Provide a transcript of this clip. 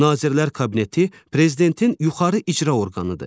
Nazirlər Kabineti Prezidentin yuxarı icra orqanıdır.